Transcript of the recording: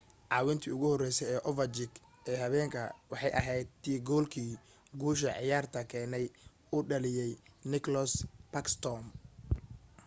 caawintii ugu horeysay ee overchkin ee habeenka waxay ahayd tii goolkii guusha ciyaarta keenay uu dhaliyay nicklas backsrtom